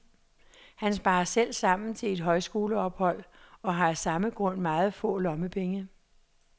Han sparer selv sammen til et højskoleophold og har af samme grund meget få lommepenge.